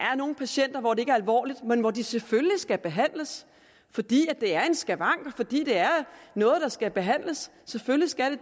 er nogle patienter hvor det er alvorligt men hvor de selvfølgelig skal behandles fordi det er en skavank og fordi det er noget der skal behandles selvfølgelig skal